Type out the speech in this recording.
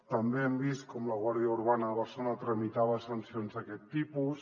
també hem vist com la guàrdia urbana de barcelona tramitava sancions d’aquest tipus